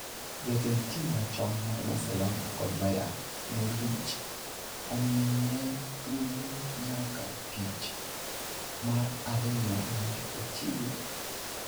Jatend tim machon mar Barcelona kod Bayern Munich omiye thuolo nyaka tich mar ariyo mondo ochiw ler.